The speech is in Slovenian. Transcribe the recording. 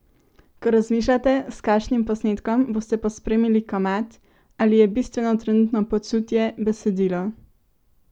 Ko razmišljate, s kakšnim posnetkom boste pospremili komad, ali je bistveno trenutno počutje, besedilo?